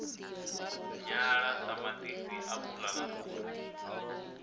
nyala ṱamaṱisi apula na fhuri